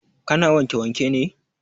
Ka na wanke wanke ne?